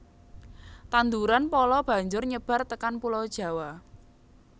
Tanduran pala banjur nyebar tekan pulau Jawa